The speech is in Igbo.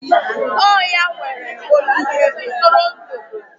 Ọ ya nwere ogige ntụrụndụ.